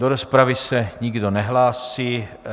Do rozpravy se nikdo nehlásí.